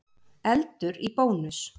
Eldur í Bónus